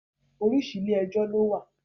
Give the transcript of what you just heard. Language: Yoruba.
Orísìí ilé ẹjọ́ ló wà